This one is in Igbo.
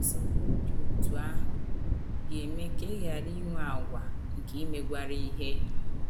Nsọpụrụ dị otú ahụ ga - eme ka ị ghara inwe àgwà nke imegwara ihe.